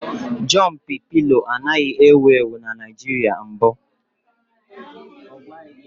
Jọmpị pịlo anaghị ewu ewu na Naịjirịa mbụ